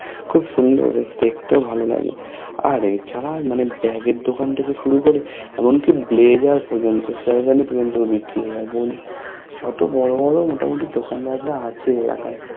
খুব সুন্দর দেখতেও ভালো লাগে আর এ ছাড়া আর মানে এর দোকান থেকে শুরু করে এমন কি Blazzer পর্যন্ত sherwani পর্যন্ত বিক্রি হয় বলছি যত বড়ো বোরো মোটা মতি দোকানদার রা আছে এলাকায়